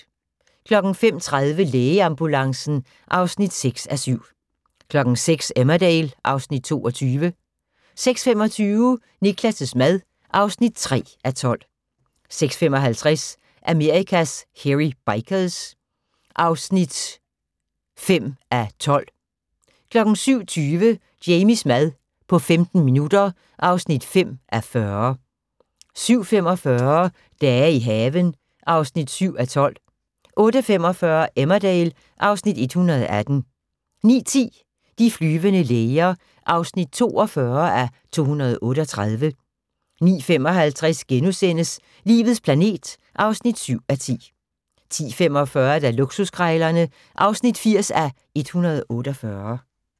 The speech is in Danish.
05:30: Lægeambulancen (6:7) 06:00: Emmerdale (Afs. 22) 06:25: Niklas' mad (3:12) 06:55: Amerikas Hairy Bikers (5:12) 07:20: Jamies mad på 15 minutter (5:40) 07:45: Dage i haven (7:12) 08:45: Emmerdale (Afs. 118) 09:10: De flyvende læger (42:238) 09:55: Livets planet (7:10)* 10:45: Luksuskrejlerne (80:148)